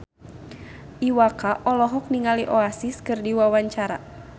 Iwa K olohok ningali Oasis keur diwawancara